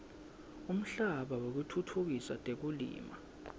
umhlaba wekutfutfukisa tekulima